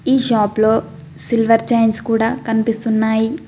ఈ షాప్ లో silver chains కూడా కనిపిస్తున్నాయి.